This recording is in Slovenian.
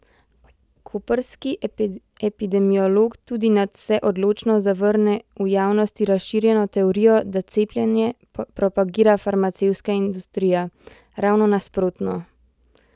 Koprski epidemiolog tudi nadvse odločno zavrne v javnosti razširjeno teorijo, da cepljenje propagira farmacevtska industrija: 'Ravno nasprotno!